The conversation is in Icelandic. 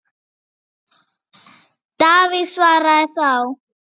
Davíð svaraði þá